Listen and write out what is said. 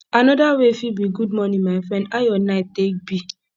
anoda way fit be good morning my friend how yur night take be